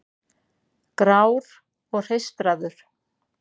Grár og hreistraður.